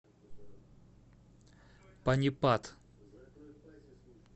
панипат